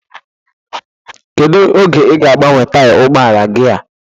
Kedụ oge ị ga-agbanwe taya ụgbọala gị a?